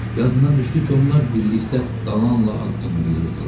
Yadına düşdü ki, onlar birlikdə dalanla addımlayırdılar.